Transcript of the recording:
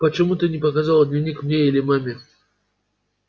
почему ты не показала дневник мне или маме